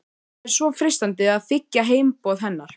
Það er svo freistandi að þiggja heimboð hennar.